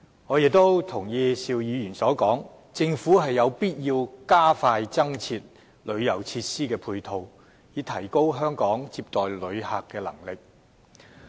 我亦認同邵議員所說，政府有必要加快增設旅遊設施的配套，以提高香港接待旅客的能力。